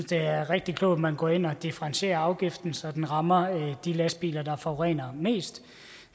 det er rigtig klogt at man går ind og differentierer afgiften så den rammer de lastbiler der forurener mest